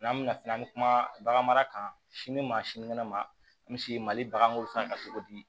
N'an bɛna fɛn an bɛ kuma bagan mara kan sini maa sini kɛnɛ ma misi ma mali baganko fɛn kan cogo di